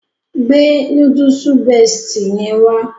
Gbe Núdúùsù Bestie yẹn wá